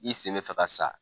I sen bɛ fɛ ka sa.